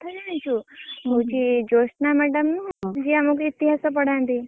ଆଉ ଗୋଟେ କଥା ଜାଣିଛୁ ହଉଛି ଜୋସନା madam ନୁହ ଯିଏ ଆମକୁ ଇତିହାସ ପଡ଼ାନ୍ତି!